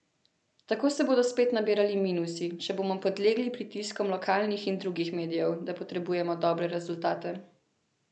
Tako se bodo spet nabirali minusi, če bomo podlegli pritiskom lokalnih in drugih medijev, da potrebujemo dobre rezultate.